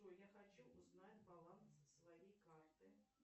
джой я хочу узнать баланс своей карты